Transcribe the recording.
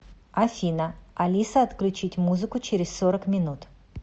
афина алиса отключить музыку через сорок минут